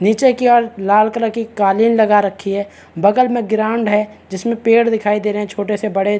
निचे की और लाल कलर की कालीन लगा रखी है बगल में ग्राउंड है जिसमें पेड़ दिखाई दे रहै है छोटे से बड़े --